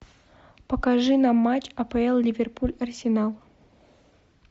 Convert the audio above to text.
покажи нам матч апл ливерпуль арсенал